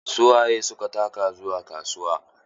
Su waye suka taka zuwa kasuwa?